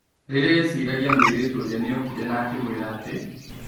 Rĩria eciragia mũirĩtu ũrĩa nĩ okire na akĩmwĩra atĩ.